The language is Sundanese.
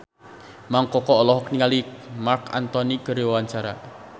Mang Koko olohok ningali Marc Anthony keur diwawancara